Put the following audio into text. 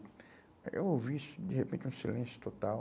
Aí eu ouvi isso, de repente, um silêncio total.